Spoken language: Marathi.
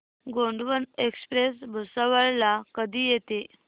गोंडवन एक्सप्रेस भुसावळ ला कधी येते